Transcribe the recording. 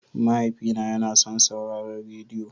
Mahaifina yana son sauraron rediyo.